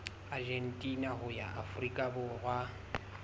argentina ho ya afrika borwa